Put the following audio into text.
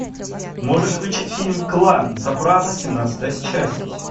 можешь включить фильм клан сопрано семнадцатая часть